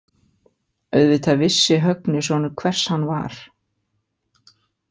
Auðvitað vissi Högni sonur hvers hann var.